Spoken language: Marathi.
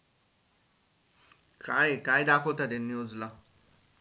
काय हे काय दाखवता त्या news ला?